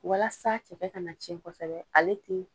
Walasa cɛkɛ kana cɛn kosɛbɛ ale te